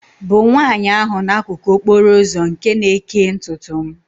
bụ nwaanyị ahụ n'akụkụ okporo ụzọ nke na-ekee ntutu m